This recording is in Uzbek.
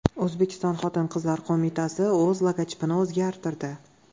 O‘zbekiston Xotin-qizlar qo‘mitasi o‘z logotipini o‘zgartirdi.